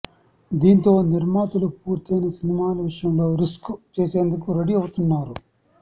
దీంతో నిర్మాతలు పూర్తయిన సినిమాల విషయంలో రిస్క్ చేసేందుకు రెడీ అవుతున్నారు